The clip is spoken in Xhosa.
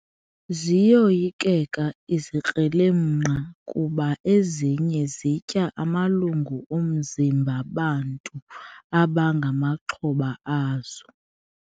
Ziyoyikeka izikrelemnqa kuba ezinye zitya amalungu omzimba bantu abangamaxhoba azo.